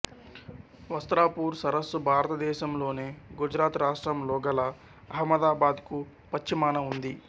వస్త్రాపూర్ సరస్సు భారతదేశం లోని గుజరాత్ రాష్ట్రంలో గల అహ్మదాబాద్ కు పశ్చిమాన ఉంది